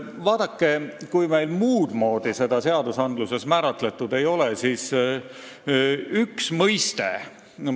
Vaadake, kui meil seda muudmoodi seadustes määratletud ei ole, siis üks mõiste on Eesti seadustes siiski olemas.